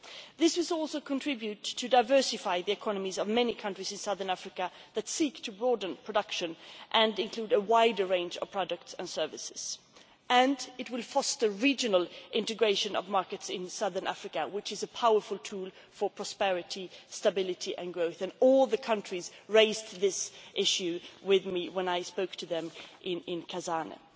This will also contribute to diversifying the economies of many countries in Southern Africa that are seeking to broaden production and include a wider range of products and services, and it will foster regional integration of markets in Southern Africa. This is a powerful tool for prosperity, stability and growth, and all the countries raised this issue with me when I spoke to them in Botswana.